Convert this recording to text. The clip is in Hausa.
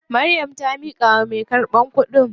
Maryam ta miƙawa mai karɓan kuɗin.